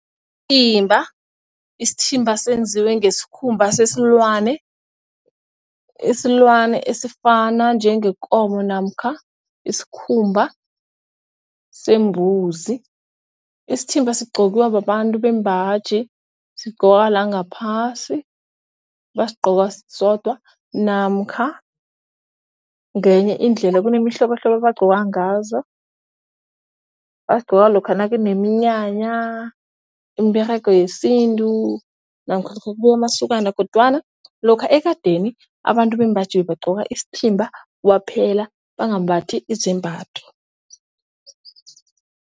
Isithimba senziwe ngesikhumba sesilwane, isilwane esifana njengeenkomo namkha isikhumba sembuzi. Isithimba sigqokwa babantu bembaji, sigqokwa la ngaphasi bayigqoka sodwa namkha ngenye indlela kunemihlobohlobo bagcoka ngazo. Bagcoka lokha nakuneminyanya, imiberego yesintu namkha kubuya amasokana kodwana lokha ekadeni abantu bembaji bebagcoka isithimba kwaphela bangambathi izembatho.